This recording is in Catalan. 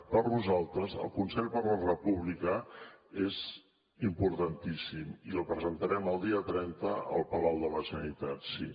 per nosaltres el consell per la república és importantíssim i el presentarem el dia trenta al palau de la generalitat sí